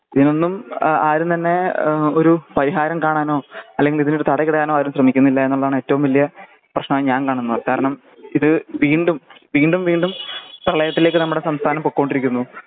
ഇന്നും ആ ആരും തന്നെ ഏഹ് ഒരു പരിഹാരം കാണാനോ അല്ലെങ്കിൽ ഇതിനൊരു തടയിടാനോ ആരും ശ്രേമിക്കുന്നില്ല എന്നാണ് ഏറ്റോം വല്യ പ്രെശ്നം ഞാൻ കാണുന്നത് കാരണം ഇത് വീണ്ടും വീണ്ടും വീണ്ടും പ്രളയത്തിലേക്ക് നമ്മടെ സംസ്ഥാനം പൊക്കോണ്ടിരിക്കുന്നു.